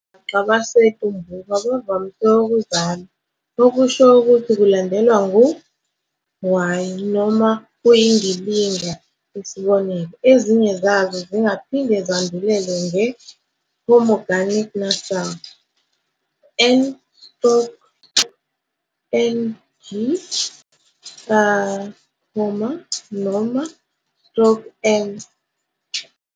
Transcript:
Ongwaqa besiTumbuka bavamise ukuzalwa, okusho ukuthi kulandelwa ngu y, noma kuyindilinga, isb. Ezinye zazo zingaphinde zandulelwe nge- homorganic nasal, n stroke ng noma stroke m.